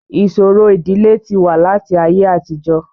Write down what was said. Ìṣòro ìdílé ti wà láti ayé àtijọ́